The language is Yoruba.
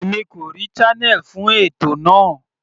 Èmi kò rí channel fún ètò náà.